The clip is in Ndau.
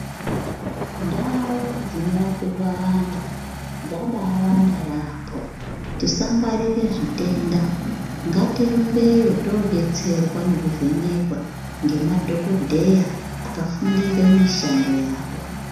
Ndau dzinorapirwa vantu dzabaawanda yaampo tisangwarirw zvite da ngatirumbeyo tobatsirwa nekuvhenekwa ngemadhokodheya akafundire mushando yawo.